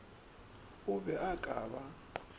o be a ka ba